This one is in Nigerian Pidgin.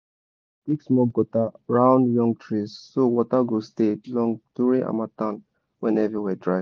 sun dry that your chicken shit like two three days before you park am go store.